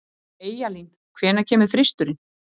Eyjalín, hvenær kemur þristurinn?